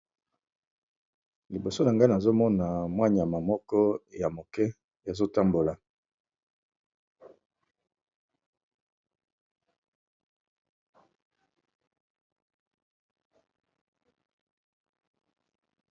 Liboso na ngai nazomona mua niama moko ya muke ezo tambola